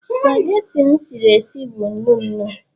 spageti m siri sie bụ nnu nnu